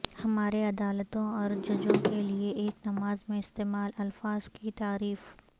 ہمارے عدالتوں اور ججوں کے لئے ایک نماز میں استعمال الفاظ کی تعریف